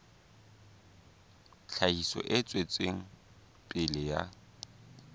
tlhahiso e tswetseng pele ya